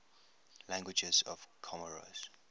languages of comoros